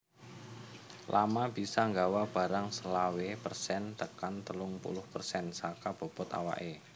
Llama bisa nggawa barang selawe persen tekan telung puluh persen saka bobot awaké